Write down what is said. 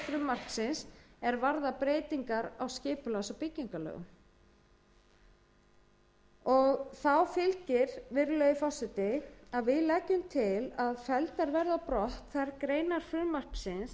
frumvarpsins er varða breytingar á skipulags og byggingarlögum þá fylgir virðulegi forseti að við leggjum til að felldar verði á brott þær greinar frumvarpsins sem fjalla um